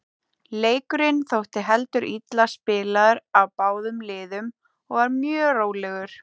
Leikurinn þótti heldur illa spilaður af báðum liðum og var mjög rólegur.